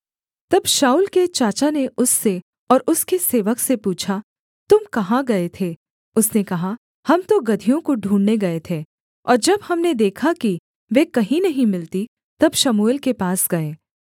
तब शाऊल के चाचा ने उससे और उसके सेवक से पूछा तुम कहाँ गए थे उसने कहा हम तो गदहियों को ढूँढ़ने गए थे और जब हमने देखा कि वे कहीं नहीं मिलतीं तब शमूएल के पास गए